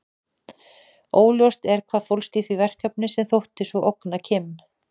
Óljóst er hvað fólst í því verkefni sem þótti svo ógna Kim.